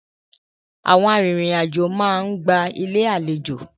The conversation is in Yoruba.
Àwọn arìnrìn-àjò máa ń gba Ilé-àlejò.